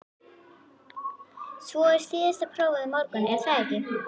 Svo er síðasta prófið á morgun, er það ekki?